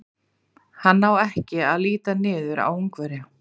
Hann á ekki að líta niður á Ungverja.